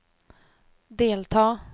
delta